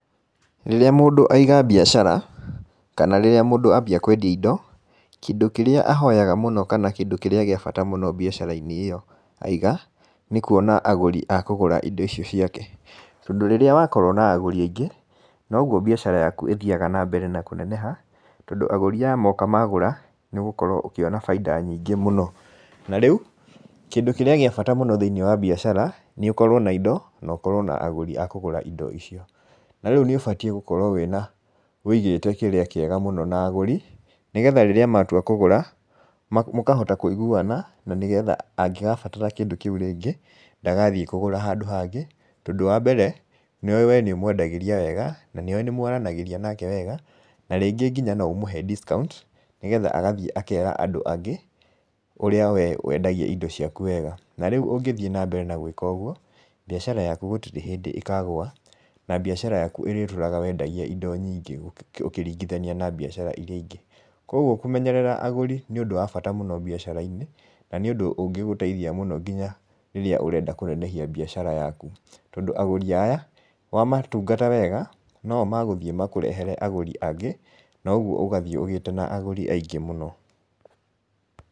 Rĩrĩa mũndũ aiga biacara, kana rĩrĩa mũndũ ambia kwendia indo, kĩndũ kĩrĩa ahoyaga mũno kana kĩndũ kĩrĩa agĩa bata mũno biacarainĩ ĩyo aiga nĩkũona agũri akũgũra indo icio tondũ rĩrĩa wakorwo na agũri aingĩ noguo biacara yaku ĩthiaga na mbere na kũneneha tondũ agũri moka magũra nĩũgũkorwo ũkĩona baida nyingĩ mũno, na rĩu kĩndũ kĩrĩa kĩa bata mũno thĩinĩ wa biacara nĩũkorwe na indo na ũkorwe na agũrĩ akũgũra indo icio, rĩu nĩubatie gũkorwo wĩna wĩigĩte kĩega na agũri nĩgetha rĩrĩa matua kũgũra mokahota kũiguana na nĩgetha angĩkabatara kĩndũ kĩu rĩngĩ ndagathiĩ kũgũra handũ hangĩ tondũ wa mbere we nĩũmwendagĩria wega na nĩoĩ nĩmwaranagĩrĩa nake wega na rĩngĩ nginya noũmũhe discount nĩgetha agathiĩ akera andũ angĩ ũrĩa we wendagia indo ciaku wega na rĩũ ũngĩthi na mbere na gwĩka ũguo biacara yaku gũtirĩ hĩndĩ ĩkagua na biacara yaku ĩgatũraga wendagia indo nyingĩ ũkĩringinathia na biacara ingĩ, kwoguo kũmenyerera agũri nĩũndũ wa bata mũno biacarainĩ na nĩũndũ ũngĩgũteithia mũno nginya rĩrĩa ũrenda kũnenehia biacara yaku tondũ agũrĩ aya wamatungata wega nĩo megũthiĩ makũrehere agũrĩ angĩ na ũguo ũgathi ũgĩte agũri aingĩ mũno.